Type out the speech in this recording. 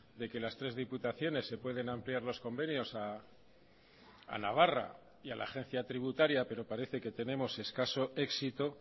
de que las tres diputaciones se pueden ampliar los convenios a navarra y a la agencia tributaria pero parece que tenemos escaso éxito